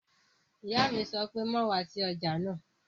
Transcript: Ìyá mi sọ pé "má wá sí ọjà náà!"